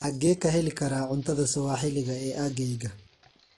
Xagee ka heli karaa cuntada sawaaxiliga ee aaggayga?